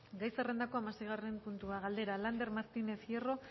gai zerrendako hamaseigarren puntua galdera lander martínez hierro